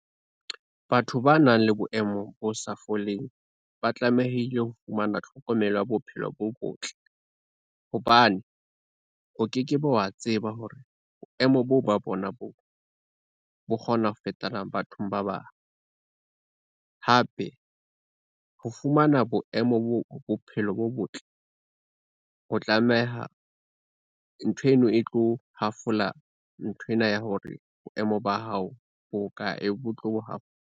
Batho ba nang le boemo bo sa foleng ba tlamehile ho fumana tlhokomelo ya bophelo bo botle, hobane o ke ke be wa tseba hore boemo boo ba bona boo, bo kgona ho fetana bathong ba bang. Hape ho fumana boemo bo bophelo bo botle, o tlameha ntho eno e tlo hafola nthwena ya hore boemo ba hao bo ka .